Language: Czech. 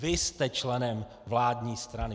Vy jste členem vládní strany.